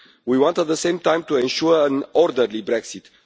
We want, at the same time, to ensure an orderly Brexit.